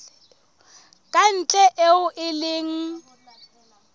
ka ntle eo e leng